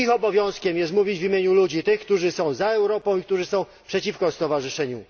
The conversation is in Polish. Ich obowiązkiem jest mówić w imieniu tych ludzi, którzy są za Europą i którzy są przeciwko stowarzyszeniu.